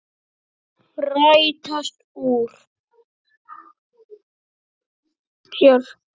Rætast úr?